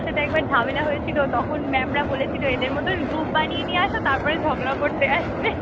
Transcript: সাথে একবার ঝামেলা হয়েছিল তখন mam রা বলেছিল যে এদের মতন group বানিয়ে নিয়ে আস তারপরে ঝগড়া করতে আসবে